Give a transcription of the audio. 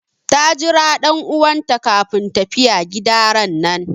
Ta Jira dan'uwan ta kafin tafiya gida ranan.